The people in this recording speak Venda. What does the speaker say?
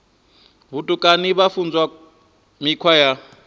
vhutukani vha funzwa mikhwa ya